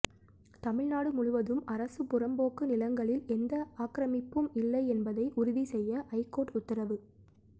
தமிழ்நாடு முழுவதும் அரசு புறம்போக்கு நிலங்களில் எந்த ஆக்கிரமிப்பும் இல்லை என்பதை உறுதி செய்ய ஐகோர்ட் உத்தரவு